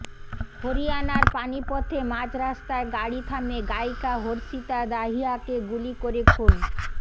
হরিয়ানার পানিপথে মাঝরাস্তায় গাড়ি থামিয়ে গায়িকা হর্ষিতা দাহিয়াকে গুলি করে খুন